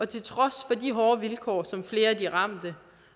til trods for de hårde vilkår som flere af de ramte